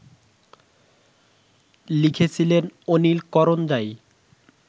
লিখেছিলেন অনিল করঞ্জাই